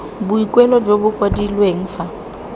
boikuelo jo bo kwadilweng fa